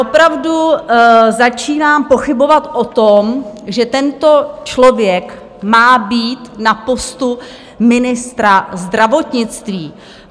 Opravdu začínám pochybovat o tom, že tento člověk má být na postu ministra zdravotnictví.